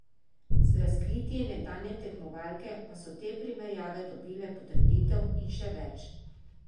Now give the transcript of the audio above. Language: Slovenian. Z razkritji nekdanje tekmovalke pa so te primerjave dobile potrditev in še več.